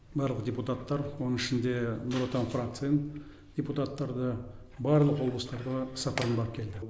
барлық депутаттар оның ішінде нұр отан фракциян депутаттары да барлық облыстарға іс сапармен барып келді